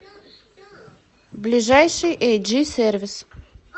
ближайший эйджи сервис